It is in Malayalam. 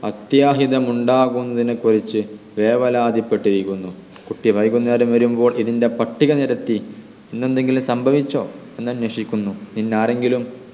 അത്യാഹിതം ഉണ്ടാകുന്നതിനെ കുറിച്ച് വേവലാത്തിപ്പെട്ടിരിക്കുന്നു കുട്ടി വൈകുന്നേരം വരുമ്പോൾ ഇതിൻ്റെ പട്ടിക നിരത്തി ഇന്ന് എന്തെങ്കിലും സംഭവിച്ചോ എന്ന് അന്വേഷിക്കുന്നു ഇന്ന് ആരെങ്കിലും